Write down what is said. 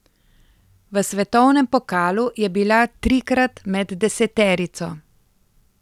V svetovnem pokalu je bila trikrat med deseterico.